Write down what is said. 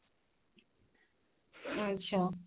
ଆଚ୍ଛା